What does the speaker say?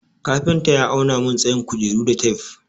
Kafinta ya auna mun tsayin kujeru da tef.